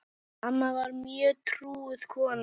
Amma var mjög trúuð kona.